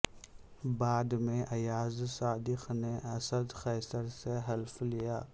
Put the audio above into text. بعد میں ایاز صادق نے اسد قیصر سے حلف لیا